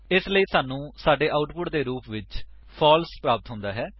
ਇਸਲਈ ਸਾਨੂੰ ਸਾਡੇ ਆਉਟਪੁਟ ਦੇ ਰੂਪ ਵਿੱਚ ਫਾਲਸ ਪ੍ਰਾਪਤ ਹੁੰਦਾ ਹੈ